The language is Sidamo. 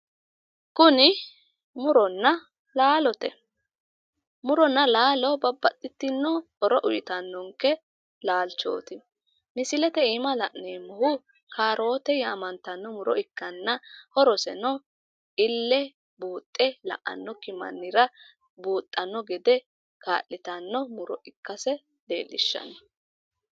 Kuni muronna laalote. Muronna laalo babbaxxitinno horo uyitannonke laalchooti. Misilete iima la'neemmohu kaaroote yaamantanno muro ikkanna horoseno ille buuxxe la'annokki mannira buuxxanno gede kaa'litanno muro ikkase leellishshano.